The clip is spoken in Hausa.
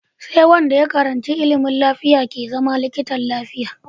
Sai Wanda ya karanshi ilimin lafiya ke zama likitan lafiya